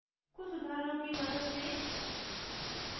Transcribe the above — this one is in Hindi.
कुछ उदाहऱणों की मदद से